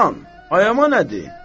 Olan, ayama nədir?